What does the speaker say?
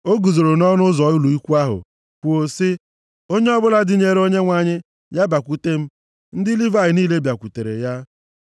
O guzoro nʼọnụ ụzọ ụlọ ikwu ahụ kwuo sị, “Onye ọbụla dịnyeere Onyenwe anyị ya bịakwute m.” Ndị Livayị niile bịakwutere ya.